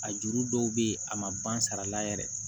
A juru dɔw bɛ ye a ma ban sara la yɛrɛ